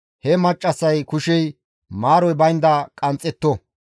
he maccassay kushey maaroy baynda qanxxetto.